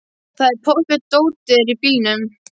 Það er pottþétt að dótið er í bílnum!